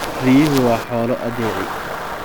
Riyuhu waa xoolo addeeci.